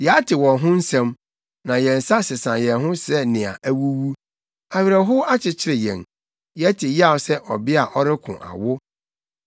Yɛate wɔn ho nsɛm, na yɛn nsa sesa yɛn ho sɛ nea awuwu. Awerɛhow akyekyere yɛn yɛte yaw sɛ ɔbea a ɔreko awo.